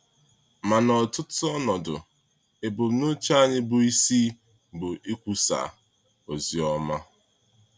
Ma n’ọtụtụ ọnọdụ, ebumnuche anyị bụ isi bụ ikwusa ozi ọma.